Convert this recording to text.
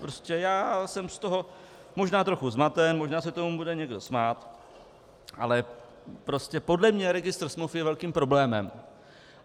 Prostě já jsem z toho možná trochu zmaten, možná se tomu bude někdo smát, ale prostě podle mě registr smluv je velkým problémem.